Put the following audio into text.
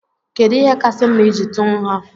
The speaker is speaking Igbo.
Kedụ ihe kasị mma iji tú nha?